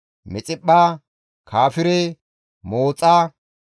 Mixiphpha, Kaafire, Mooxa,